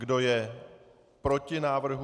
Kdo je proti návrhu?